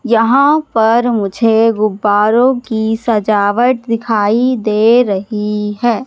यहां पर मुझे गुब्बारों की सजावट दिखाई दे रही है।